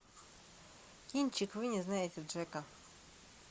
кинчик вы не знаете джека